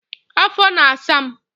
afọ na-asa m.